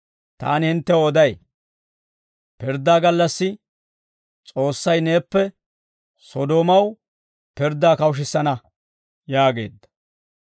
Taani hinttew oday; pirddaa gallassi S'oossay neeppe Sodoomaw pirddaa kawushissana» yaageedda.